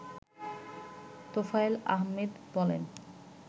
তোফায়েল আহমেদ বলেন